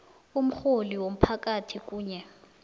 umrholi womphakathi kunye